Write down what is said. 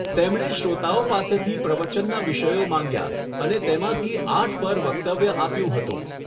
તેમણે શ્રોતાઓ પાસેથી પ્રવચનના વિષયો માંગ્યા અને તેમાંથી આઠ પર વક્તવ્ય આપ્યું હતું.